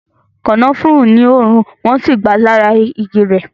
Kànáfùrú ní òórùn, wọn si gba lára igi rẹ